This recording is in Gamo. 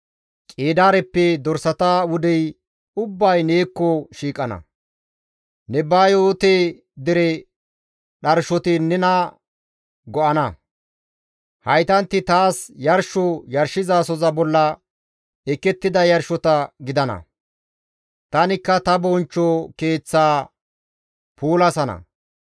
Qeedaareppe dorsata wudey ubbay neekko shiiqana; Nebayoote dere dharshoti nena go7ana; haytanti taas yarsho yarshizasoza bolla ekettida yarshota gidana; tanikka ta bonchcho keeththaa puulasana.